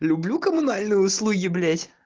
люблю коммунальные услуги